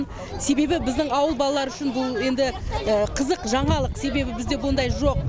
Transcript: себебі біздің ауыл балалары үшін бұл енді қызық жаңалық себебі бізде ондай жоқ